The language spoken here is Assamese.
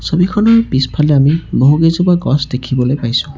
ছবিখনৰ পিছফালে বহু কেইজোপা গছ দেখিবলৈ পাইছোঁ।